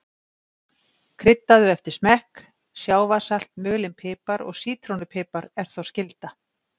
Kryddaðu eftir smekk, sjávarsalt, mulinn pipar og sítrónu pipar er þó skylda.